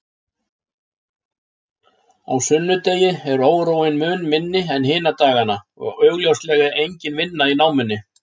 Á sunnudegi er óróinn mun minni en hina dagana og augljóslega engin vinna í námunni.